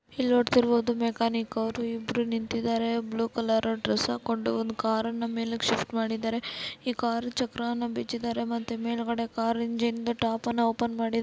ನೋಡುತ್ತಿರಬಹುದು mechanic ಅವರು ಇಬ್ರು ನಿಂತಿದ್ದಾರೆ ಬ್ಲೂ ಕಲರು ಡ್ರೆಸ್ ಹಾಕೊಂಡು ಒಂದು ಕಾರನ್ನು ಮೇಲೆ ಶಿಫ್ಟ್ ಮಾಡಿದ್ದಾರೆ ಈ ಕಾರು ಚಕ್ರವನ್ನು ಬಿಚ್ಚಿದ್ದಾರೆ ಮತ್ತೆ ಮೇಲ್ಗಡೆ ಕಾರ್ ಇಂಜಿನ್ ದು ಟಾಪನ್ನು ಓಪನ್ ಮಾಡಿದ್ದಾರೆ.